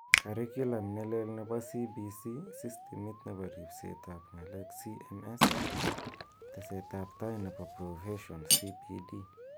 curiculum ne lel nebo CBC,sistimit nebo ribset ab nga'lek CMS, teset ab tai nebo profession CPD